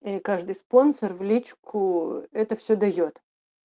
и каждый спонсор в личку это все даёт